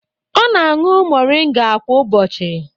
Ọ na-aṅụ moringa kwa ụbọchị